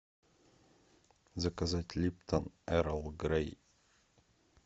заказать липтон эрл грей